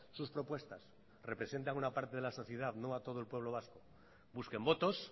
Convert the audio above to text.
sus propuestas representan a una parte de la sociedad no a todo el pueblo vasco busquen votos